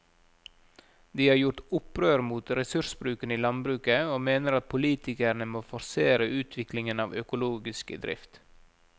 De har gjort opprør mot ressursbruken i landbruket og mener at politikerne må forsere utviklingen av økologisk drift.